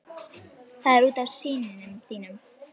Það er út af syni þínum.